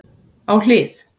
Á hlið